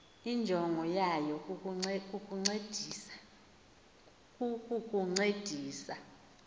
injongo yayo kukukuncedisa